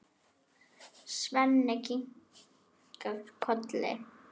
Svenni kinkar kolli.